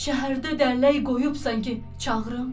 Şəhərdə dəllək qoyubsan ki, çağırım?